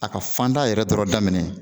A ka fanda yɛrɛ dɔrɔn daminɛ